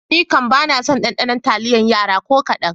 Nikam bana son ɗaɗanon taliyar Yara ko kaɗan.